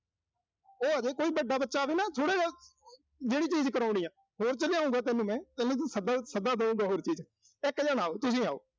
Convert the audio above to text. ਉਹ ਆਵੇ, ਕੋਈ ਵੱਡਾ ਬੱਚਾ ਆਵੇ ਨਾ ਥੋੜ੍ਹਾ ਜਾ। ਜਿਹੜੀ ਚੀਜ਼ ਕਰਾਉਣੀ ਆ। ਹੋਰ ਚ ਲਿਆਊਂਗਾ ਤੈਨੂੰ ਮੈਂ। ਤੈਨੂੰ ਵੀ ਸੱਦਾ, ਸੱਦਾ ਦੇਊਂਗਾ, ਹੋਰ ਚੀਜ਼ ਚ। ਇੱਕ ਜਾਣਾ ਆਓ, ਤੁਸੀਂ ਆਓ।